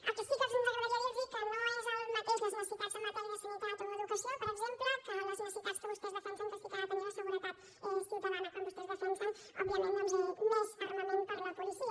el que sí que ens agradaria dir los que no és el mateix les necessitats en matèria de sanitat o educació per exemple que les necessitats que vostès defensen que sí que ha de tenir la seguretat ciutadana quan vostès defensen òbviament doncs més armament per a la policia